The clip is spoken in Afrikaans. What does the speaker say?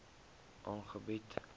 aangebied